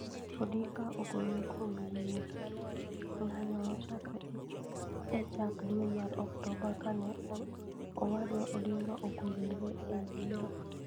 Odinga Ogolore Kuom Yier. Ng'anyo nochakore e chak dwe mar Oktoba kane Owadwa Odinga ogolore e yiero.